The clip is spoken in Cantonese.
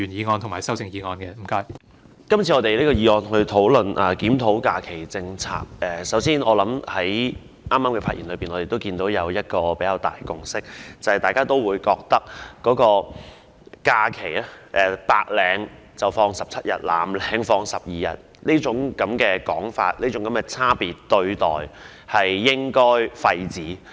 我們今天討論"檢討假期政策"這項議案。大家均認為，白領放17天假、藍領放12天假這種差別對待應該廢止。